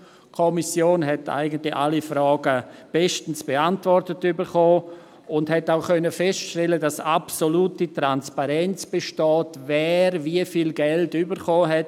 Die Kommission erhielt eigentlich alle Fragen bestens beantwortet und konnte auch feststellen, dass absolute Transparenz besteht, wer wie viel Geld erhalten hat.